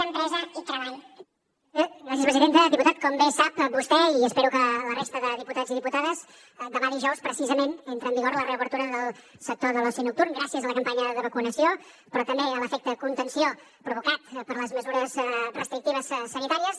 diputat com bé sap vostè i espero que la resta de diputats i diputades demà dijous precisament entra en vigor la reobertura del sector de l’oci nocturn gràcies a la campanya de vacunació però també a l’efecte contenció provocat per les mesures restrictives sanitàries